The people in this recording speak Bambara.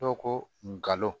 Dɔ kolon